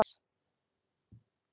Svipað á við um olíu og gas.